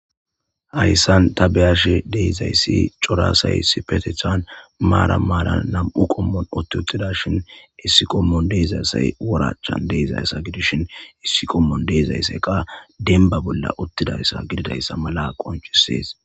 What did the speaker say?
Hayssan tabeyashe deezayssi corasay sipetethan maara maara nam'u qommoon otti uttida shin issiqommon deezassay worachan deezayssa gidishin issiqommon deezayseqa denba bolla uttidayssa gididayssa mala qonchisees.